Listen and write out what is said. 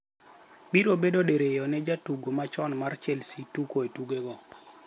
Biro bedo diriyo ne jatugo machon mar Chelsea tugo e tukego.